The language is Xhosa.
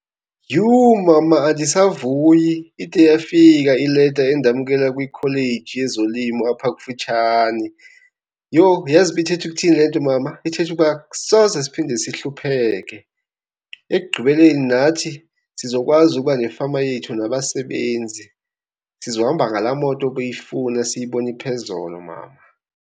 Yhu! Mama, andisavuyi ide yafika ileta endamkela kwikholeji yezolimo apha kufitshane. Yho, uyazi uba ithetha ukuthini le nto mama? Ithetha ukuba soze siphinde sihlupheke. Ekugqibeleni nathi sizokwazi ukuba nefama yethu nabasebenzi. Sizohamba ngalaa moto ubuyifuna esiyibone phezolo, mama.